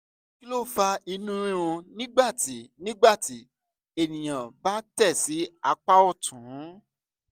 kí ló fa inú rírun nígbà tí nígbà tí ènìyàn bá tẹ̀ sí apá ọ̀tún?